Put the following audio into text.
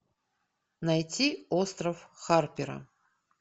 найти остров харпера